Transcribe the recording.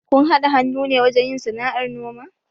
Kun haɗa hannu ne wajen yin sana'ar noma?